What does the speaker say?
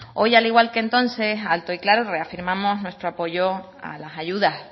hoy al igual que entonces alto y claro reafirmamos nuestro apoyo a las ayudas